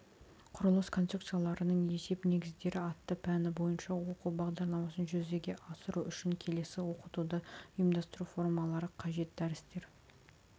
құрылыс конструкцияларының есеп негіздері атты пәні бойынша оқу бағдарламасын жүзеге асыру үшін келесі оқытуды ұйымдастыру формалары қажет дәрістер